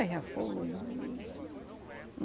Eu já fui, hum, hum.